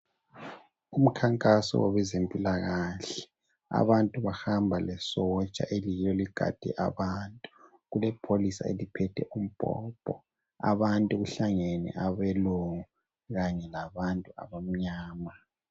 Umkhankaso wezempilakahle abantu bamba lesotsha eliyilo eligade abantu kulepholisa eliphethe umbhobho abantu kuhlangene abelungu kanye labantu abamnyama.